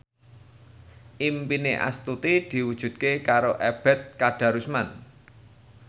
impine Astuti diwujudke karo Ebet Kadarusman